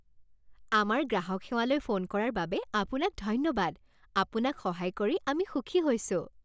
আমাৰ গ্ৰাহক সেৱালৈ ফোন কৰাৰ বাবে আপোনাক ধন্যবাদ। আপোনাক সহায় কৰি আমি সুখী হৈছোঁ।